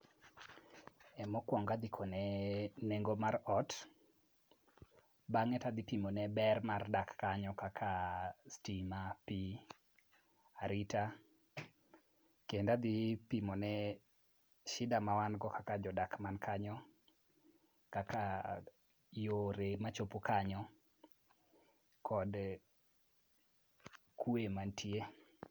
Mokwongo adhi kone nengo mar ot. Bang'e tadhi pimone ber mar dak kanyo kaka stima ,pi ,arita kendo adhi pimone shida ma wan go kaka jodak man kanyo kaka yore machopo kanyo, kod kwe manitie.